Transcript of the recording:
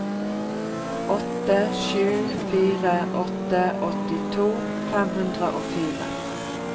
åtte sju fire åtte åttito fem hundre og fire